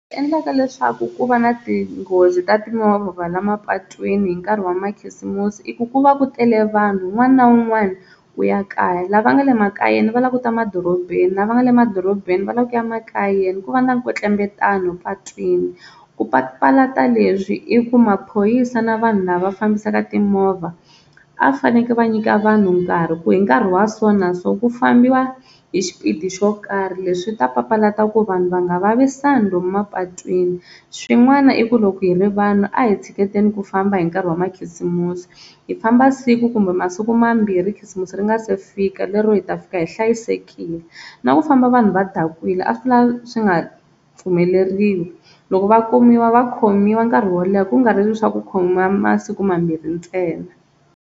Leswi endlaka leswaku ku va na tinghozi ta timovha la mapatwini hi nkarhi wa makhisimusi i ku ku va ku tele vanhu un'wana na un'wana u ya kaya lava nga le makayeni va lava ku ta madorobeni lava nga le madorobeni va lava ku ya makayeni ku va na nkwetlembetano patwini, ku papalata leswi i ku maphoyisa na vanhu lava fambisaka timovha a va fanekele va nyika vanhu nkarhi ku hi nkarhi wa so na so ku fambiwa hi xipidi xo karhi leswi ta papalata ku vanhu va nga vavisani lomu mapatwini, swin'wana i ku loko hi ri vanhu a hi tshiketeni ku famba hi nkarhi wa makhisimusi hi famba siku kumbe masiku mambirhi khisimusi ri nga se fika lero hi ta fika hi hlayisekile na ku famba vanhu va dakwile a swi la swi nga pfumeleriwi loko va kumiwa va khomiwa nkarhi wo leha kungari leswiya swa ku khomiwa masiku mambirhi ntsena.